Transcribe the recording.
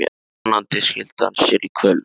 Vonandi skili hann sér í kvöld.